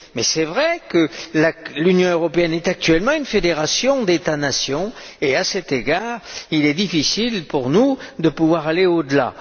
Mais c'est vrai que l'Union européenne est actuellement une fédération d'États nations et, à cet égard, il est difficile pour nous de pouvoir aller au delà.